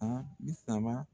A bi saba..